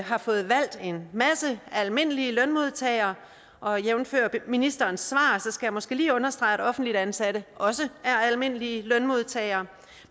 har fået valgt en masse almindelige lønmodtagere og jævnfør ministerens svar skal jeg måske lige understrege at offentligt ansatte også er almindelige lønmodtagere